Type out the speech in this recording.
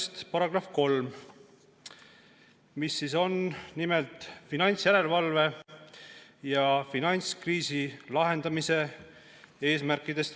Selle § 3 räägib finantsjärelevalve ja finantskriisi lahendamise eesmärkidest.